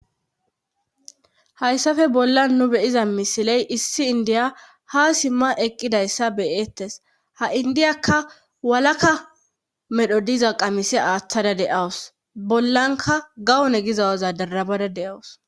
hayssafe bollan nu be'iza misiley issi indiya ha simma eqqidayssa beyeettes ha indiyakka walaka medho diza qamisi aaththada de'awus bollanka gawone gizawaza darabada de'awus